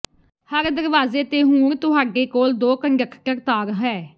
ਹਰ ਦਰਵਾਜ਼ੇ ਤੇ ਹੁਣ ਤੁਹਾਡੇ ਕੋਲ ਦੋ ਕੰਡਕਟਰ ਤਾਰ ਹੈ